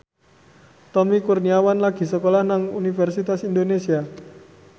Tommy Kurniawan lagi sekolah nang Universitas Indonesia